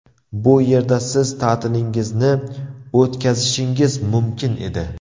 Bu yerda siz ta’tilingizni o‘tkazishingiz mumkin edi.